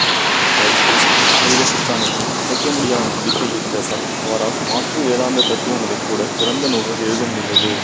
அவருக்கு அத்வைத சித்தாந்தத்தில் அசைக்கமுடியாத நம்பிக்கை இருந்ததால் அவரால் மாற்று வேதாந்த தத்துவங்களில் கூட சிறந்த நூல்கள் எழுத முடிந்தது